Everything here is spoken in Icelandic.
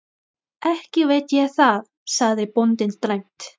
Ekki veit ég það, sagði bóndinn dræmt.